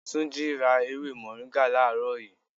3. Túnjí rà ewé moringa làárọ̀ yii